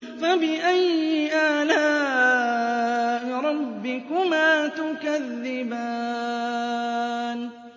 فَبِأَيِّ آلَاءِ رَبِّكُمَا تُكَذِّبَانِ